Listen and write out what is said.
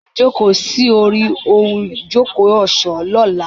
Ń ó jókòó sórí í ohun ìjókòó ọ̀ṣọ́ lọ́la.